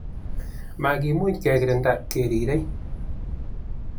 makimuch kekirinda kerirei